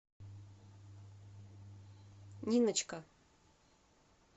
ниночка